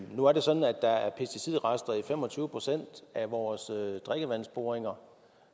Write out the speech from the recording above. nu er det sådan at der er pesticidrester i fem og tyve procent af vores drikkevandsboringer